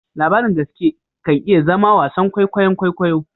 Labarin gaske kan iya zama wasan kwaikwayon kwaikwayo